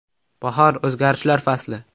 Bahor – o‘zgarishlar fasli!